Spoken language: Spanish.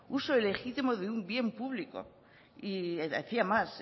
uso ilegítimo de un bien público y decía más